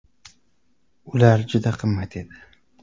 Ular juda qimmat edi.